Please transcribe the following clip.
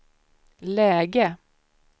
läge